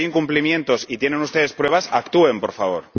Si hay incumplimientos y tienen ustedes pruebas, actúen, por favor.